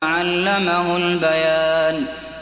عَلَّمَهُ الْبَيَانَ